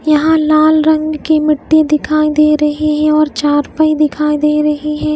यहां लाल रंग की मिट्टी दिखाई दे रही है और चारपाई दिखाई दे रही है।